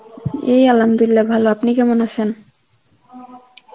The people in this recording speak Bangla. এই Arbi ভালো. আপনি কেমন আছেন?